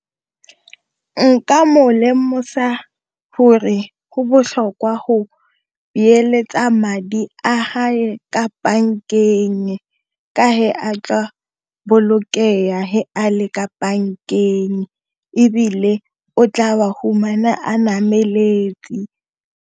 Nka mo lemosa gore go botlhokwa go beeletsa madi a gage ka bankeng ka a tla bolokega a le ka bankeng ebile o tla a fumana a nameletse.